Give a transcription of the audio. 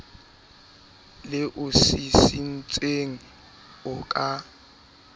le o sisintseng o ka